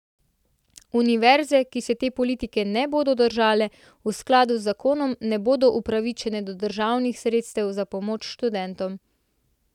Univerze, ki se te politike ne bodo držale, v skladu z zakonom ne bodo upravičene do državnih sredstev za pomoč študentom.